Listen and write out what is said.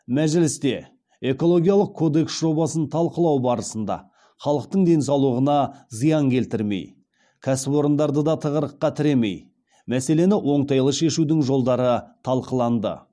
мәжілісте экологиялық кодекс жобасын талқылау барысында халықтың денсаулығына зиян келтірмей кәсіпорындарды да тығырыққа тіремей мәселені оңтайлы шешудің жолдары талқыланды